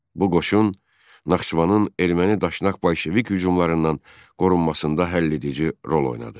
Bu qoşun Naxçıvanın erməni daşnak bolşevik hücumlarından qorunmasında həll edici rol oynadı.